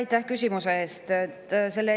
Aitäh küsimuse eest!